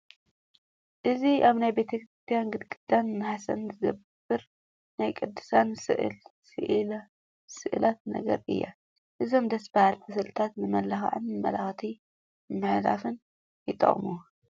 እዚ ኣብ ናይ ቤተክርስቲያን ግድግዳን ናሕስን ዝግበር ናይ ቅዱሳን ስእላት ነገር እዩ፡፡ እዞም ደስ በሃልቲ ስእልታት ንመመላኽዕን መልእኽቲ ንምምሕላፍን ይጠቕሙ፡፡